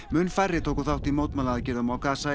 mun færri tóku þátt í mótmælaaðgerðum á